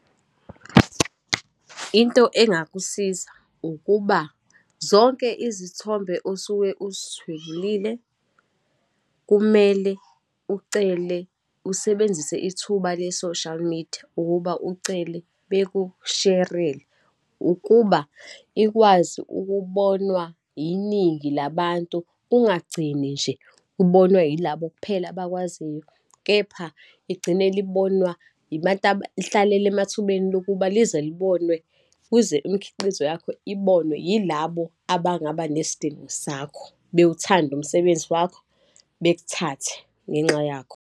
Into engakusiza ukuba zonke izithombe osuke uzithwebulile kumele ucele, usebenzise ithuba le-social media ukuba ucele bekusherele, ukuba ikwazi ukubonwa yiningi labantu kungagcini nje ubonwa yilabo kuphela abakwaziyo, kepha igcine libonwa ihlalele emathubeni lokuba lize libonwe, kuze imikhiqizo yakho ibonwe yilabo abangabanesidingo sakho, bewuthande umsebenzi wakho, bekuthathe ngenxa yakho.